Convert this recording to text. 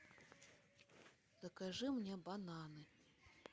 закажи мне бананы